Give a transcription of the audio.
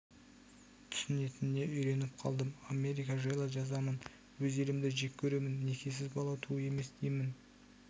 түсінетініне үйреніп қалдым америка жайлы жазамын өз елімді жек көремін некесіз бала туу емес деймін